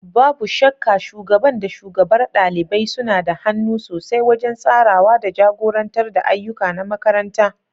Babu shakka, Shugaban da shugabar ɗalibai suna da hannu sosai wajen tsarawa da jagorantar ayyuka na makaranta.